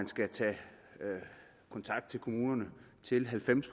skal tages kontakt til kommunerne til halvfems